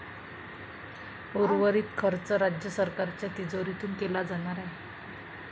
उर्वरित खर्च राज्य सरकारच्या तिजोरीतून केला जाणार आहे.